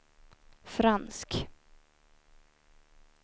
fransk